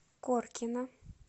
коркино